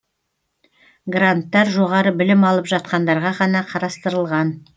гранттар жоғары білім алып жатқандарға ғана қарастырылған